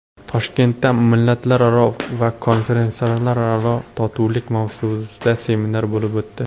Toshkentda millatlararo va konfessiyalararo totuvlik mavzusida seminar bo‘lib o‘tdi.